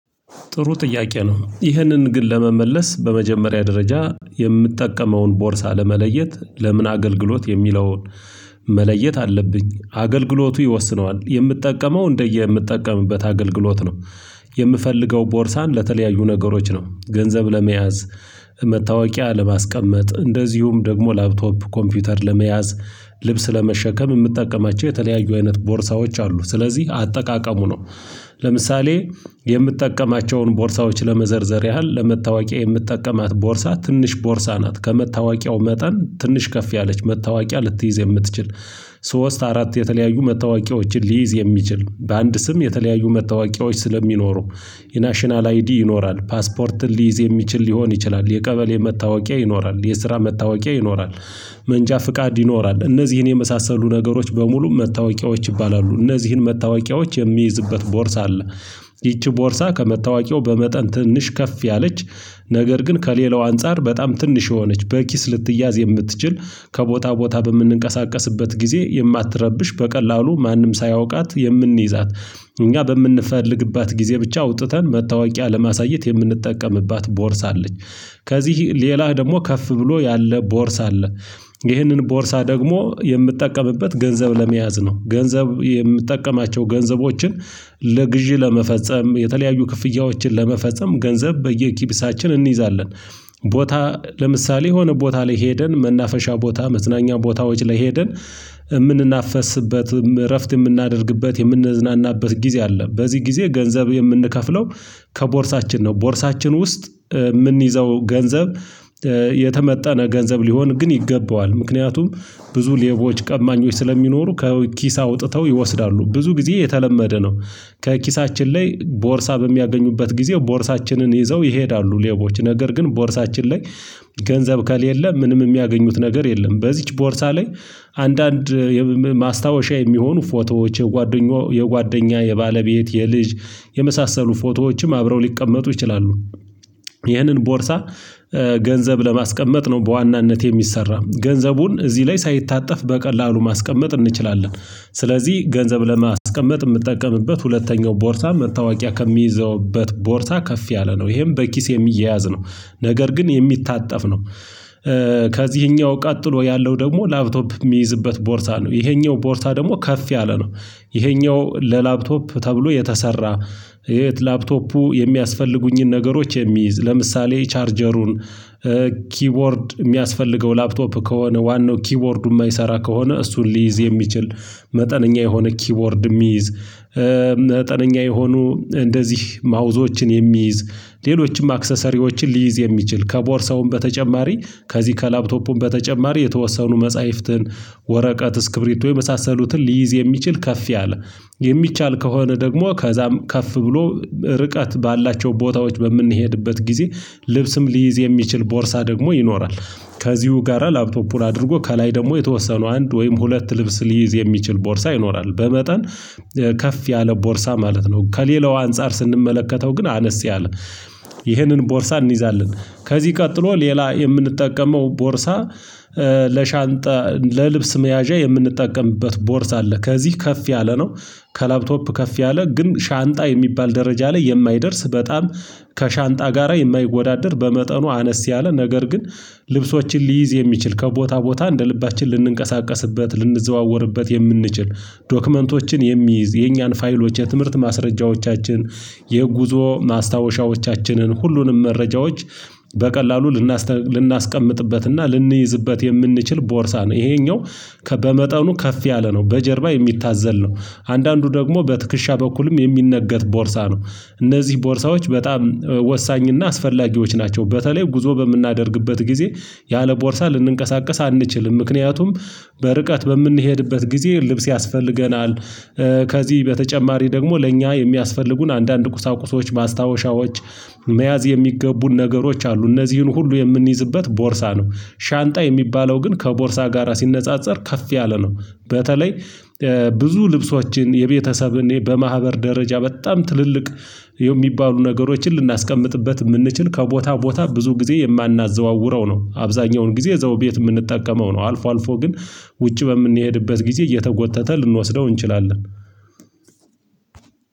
ጥሩ ጥያቄ ነው ይህንን ግን ለመመለስ በመጀመሪያ ደረጃ የምጠቀመውን ቦርሳ ለመለየት ለምን አገልግሎት የሚለውን መለየት አለብኝ አገልግሎቱ ይወስነዋል የምጠቀመው እንደየምጠቀምበት አገልግሎት ነው። የምፈልገው ቦርሳን ለተለያዩ ነገሮች ነው ገንዘብ ለመያዝ፣ መታወቂያ ለማስቀመጥ፣ እንደዚሁም ደግሞ ላፕቶፕ ኮምፒውተር ለመያዝ ልብስ ለመሸከም የምጠቀማቸው የተለያዩ አይነት ቦርሳዎች አሉ ስለዚህ አጠቃቀሙ ነው። ለምሳሌ የምጠቀማቸውን ቦርሳዎች ለመዘርዘር ያህል ለመታወቂያ የምጠቀማት ቦርሳ ትንሽ ቦርሳ ናት ከመታወቂያው መጠን ትንሽ ከፍ ያለች መታወቂያ ልትይዝ የምትችል። ሶስት አራት የተለያዩ መታወቂያዎችን ሊይዝ የሚችል በአንድ ስም የተለያዩ መታወቂያዎች ስለሚኖሩ የናሽናል አይዲ ይኖራል፣ ፓስፖርትን ሊይዝ የሚችል ሊሆን ይችላል፣ የቀበሌ መታወቂያ ይኖራል የስራ መታወቂያ ይኖራል መንጃ ፍቃድ ይኖራል እነዚህን የመሳሰሉ ነገሮች በሙሉ መታወቂያዎች ይባላሉ እነዚህን መታወቂያዎች የሚይዝበት ቦርሳ አለ። ይቺ ቦርሳ ከመታወቂያው በመጠን ትንሽ ከፍ ያለች ነገር ግን ከሌላው አንፃር በጣም ትንሽ የሆነች በኪስ ልትያዝ የምትችል ከቦታ ቦታ በምንንቀሳቀስበት ጊዜ የማትረብሽ በቀላሉ ማንም ሳያውቃት የምንይዛት እኛ በምንፈልግባት ጊዜ ብቻ አውጥተን መታወቂያ ለማሳየት የምንጠቀምባት ቦርሳ አለች። ከዚህ ሌላ ደግሞ ከፍ ብሎ ያለ ቦርሳ አለ። ይህንን ቦርሳ ደግሞ የምጠቀምበት ገንዘብ ለመያዝ ነው ገንዘብ የምጠቀማቸው ገንዘቦችን ለግዢ ለመፈጸም የተለያዩ ክፍያዎችን ለመፈጸም ገንዘብ በየኪብሳችን እንይዛለን። ቦታ ለምሳሌ የሆነ ቦታ ላይ ሄደን መናፈሻ ቦታ መዝናኛ ቦታዎች ላይ ሄደን የምንናፈስበት እረፍት የምናደርግበት የምንዝናናበት ጊዜ አለ በዚህ ጊዜ ገንዘብ የምንከፍለው ከቦርሳችን ነው ቦርሳችን ውስጥ የምንይዘው ገንዘብ የተመጠነ ገንዘብ ሊሆን ግን ይገባዋል ምክንያቱም ብዙ ሌቦች ቀማኞች ስለሚኖሩ ከኪስህ አውጥተው ይወስዳሉ ብዙ ጊዜ የተለመደ ነው። ከኪሳችን ላይ ቦርሳ በሚያገኙበት ጊዜ ቦርሳችንን ይዘው ይሄዳሉ ሌቦች ነገር ግን ቦርሳችን ላይ ገንዘብ ከሌለ ምንም የሚያገኙት ነገር የለም። በዚህች ቦርሳ ላይ አንዳንድ ማስታወሻ የሚሆኑ ፎቶዎች የጓደኞ የጓደኛ የባለቤት የልጅ የመሳሰሉ ፎቶዎችም አብረው ሊቀመጡ ይችላሉ። ይህንን ቦርሳ ገንዘብ ለማስቀመጥ ነው በዋናነት የሚሰራው ገንዘቡን እዚህ ላይ ሳይታጠፍ በቀላሉ ማስቀመጥ እንችላለን። ስለዚህ ገንዘብ ለማስቀመጥ የምጠቀምበት ሁለተኛው ቦርሳ መታወቂያ ከምይዝበት ቦርሳ ከፍ ያለ ነው ይሄም በኪስ የሚያያዝ ነው። ነገር ግን የሚታጠፍ ነው። ከዚህኛው ቀጥሎ ያለው ደግሞ ላፕቶፕ የሚይዝበት ቦርሳ ነው። ይሄኛው ቦርሳ ደግሞ ከፍ ያለ ነው። ይሄኛው ለላፕቶፕ ተብሎ የተሰራ ላፕቶፑ የሚያስፈልጉኝን ነገሮች የሚይዝ ለምሳሌ ቻርጀሩን ኪቦርድ የሚያስፈልገው ላፕቶፕ ከሆነ ዋናው ኪቦርዱ የማይሰራ ከሆነ እሱን ሊይዝ የሚችል መጠነኛ የሆነ ኪቦርድ የሚይዝ መጠነኛ የሆኑ እንደዚህ ማውዞችን የሚይዝ ሌሎችም አክሰሰሪዎችን ሊይዝ የሚችል ከቦርሳውም በተጨማሪ ከዚህ ከላፕቶፑም በተጨማሪ የተወሰኑ መጽሐፍትን፣ ወረቀት፣ እስክብሪቶ የመሳሰሉትን ሊይዝ የሚችል ከፍ ያለ የሚቻል ከሆነ ደግሞ ከዛም ከፍ ብሎ እርቀት ባላቸው ቦታዎች በምንሄድበት ጊዜ ልብስም ሊይዝ የሚችል ቦርሳ ደግሞ ይኖራል። ከዚሁ ጋራ ላፕቶፑን አድርጎ ከላይ ደግሞ የተወሰኑ አንድ ወይም ሁለት ልብስ ሊይዝ የሚችል ቦርሳ ይኖራል በመጠን ከፍ ያለ ቦርሳ ማለት ነው። ከሌላው አንፃር ስንመለከተው ግን አነስ ያለ ይህንን ቦርሳ እንይዛለን። ከዚህ ቀጥሎ ሌላ የምንጠቀመው ቦርሳ ለሻንጣ ለልብስ መያዣ የምንጠቀምበት ቦርስ አለ ከዚህ ከፍ ያለ ነው። ከላፕቶፕ ከፍ ያለ ግን ሻንጣ የሚባል ደረጃ ላይ የማይደርስ በጣም ከሻንጣ ጋራ የማይወዳደር በመጠኑ አነስ ያለ ነገር ግን ልብሶችን ሊይዝ የሚችል ከቦታ ቦታ እንደ ልባችን ልንንቀሳቀስበት ልንዘዋወርበት የምንችል። ዶክመንቶችን የሚይዝ የኛን ፋይሎች የትምህርት ማስረጃዎቻችን የጉዞ ማስታወሻዎቻችንን ሁሉንም መረጃዎች በቀላሉ ልናስቀምጥበትና ልንይዝበት የምንችል ቦርሳ ነው። ይሄኛው በመጠኑ ከፍ ያለ ነው በጀርባ የሚታዘል ነው። አንዳንዱ ደግሞ በትከሻ በኩልም የሚነገት ቦርሳ ነው። እነዚህ ቦርሳዎች በጣም ወሳኝና አስፈላጊዎች ናቸው። በተለይ ጉዞ በምናደርግበት ጊዜ ያለ ቦርሳ ልንንቀሳቀስ አንችልም። ምክንያቱም በርቀት በምንሄድበት ጊዜ ልብስ ያስፈልገናል። ከዚህ በተጨማሪ ደግሞ ለእኛ የሚያስፈልጉን አንዳንድ ቁሳቁሶች ማስታወሻዎች መያዝ የሚገቡን ነገሮች አሉ እነዚህን ሁሉ የምንይዝበት ቦርሳ ነው። ሻንጣ የሚባለው ግን ከቦርሳ ጋራ ሲነጻጸር ከፍ ያለ ነው። በተለይ ብዙ ልብሶችን የቤተሰብን በማህበር ደረጃ በጣም ትልልቅ የሚባሉ ነገሮችን ልናስቀምጥበት የምንችል ከቦታ ቦታ ብዙ ጊዜ የማናዘዋውረው ነው። አብዛኛውን ጊዜ እዛው ቤት የምንጠቀመው ነው። አልፎ አልፎ ግን ውጪ በምንሄድበት ጊዜ እየተጎተተ ልንወስደው እንችላለን።